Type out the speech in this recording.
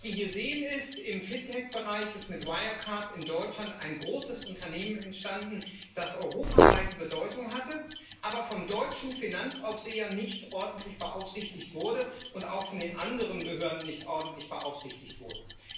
Was wir hier sehen, ist Im FinTech Bereich ist mit Wirecard in Deutschland ein großes Unternehmen entstanden, das europaweite Bedeutung hatte, aber vom deutschen Finanzaufseher nicht ordentlich beaufsichtigt wurde und auch von den anderen Behörden nicht ordentlich beaufsichtigt wurde.